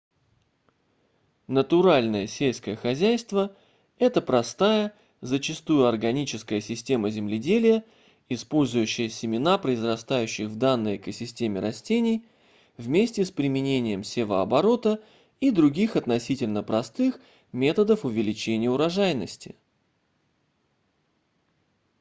натуральное сельское хозяйство это простая зачастую органическая система земледелия использующая семена произрастающих в данной экосистеме растений вместе с применением севооборота и других относительно простых методов увеличения урожайности